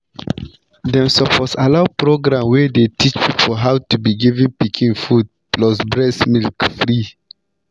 them suppose allow program wey dey teach people how to to give pikin food plus breast milk free.